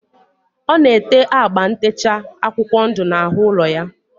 Ọ na-ete agba ntecha akwụkwọ ndụ n'ahụ ụlọ ya.